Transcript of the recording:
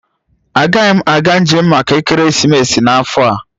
Agaghị m aga njem maka ekeresimesi n'afọ a